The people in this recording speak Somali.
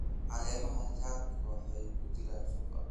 Caleemaha chard waxay ku jiraan suuqa.